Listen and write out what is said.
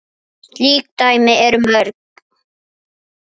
Mér leiðist orðið trend.